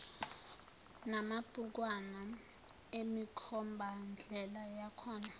namabhukwana emikhombandlela yakhona